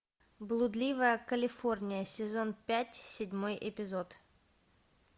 блудливая калифорния сезон пять седьмой эпизод